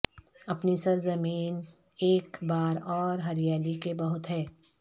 اپنی سرزمین ایک بار اور ہریالی کے بہت ہے